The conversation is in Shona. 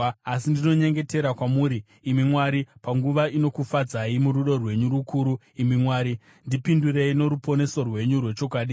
Asi ndinonyengetera kwamuri, imi Mwari, panguva inokufadzai; murudo rwenyu rukuru, imi Mwari, ndipindurei noruponeso rwenyu rwechokwadi.